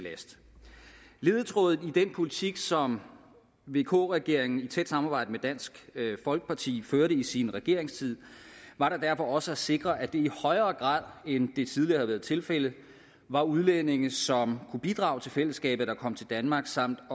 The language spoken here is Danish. last ledetråden i den politik som vk regeringen i tæt samarbejde med dansk folkeparti førte i sin regeringstid var da derfor også at sikre at det i højere grad end det tidligere havde været tilfældet var udlændinge som kunne bidrage til fællesskabet der kom til danmark samt